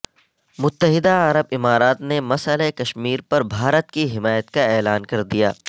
متحدہ عرب امارات نے مسئلہ کشمیر پر بھارت کی حمایت کا اعلان کر دیا